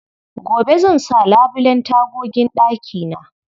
Gobe zan sa labulen tagogin ɗakina.